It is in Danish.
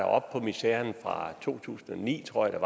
op på miseren fra to tusind og ni tror jeg